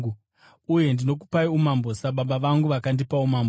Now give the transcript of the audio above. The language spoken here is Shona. Uye ndinokupai umambo, sababa vangu vakandipa umambo,